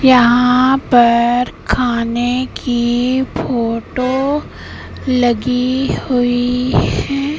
यहां पर खाने की फोटो लगी हुई है।